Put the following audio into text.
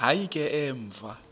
hayi ke emva